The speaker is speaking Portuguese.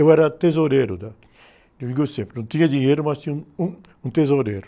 Eu era tesoureiro, tá? Eu digo sempre, não tinha dinheiro, mas tinha um, um tesoureiro.